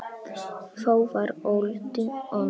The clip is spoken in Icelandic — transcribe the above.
Þá var öldin önnur.